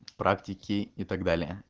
практики и так далее